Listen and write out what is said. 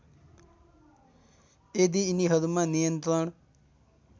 यदि यिनीहरूमा नियन्त्रण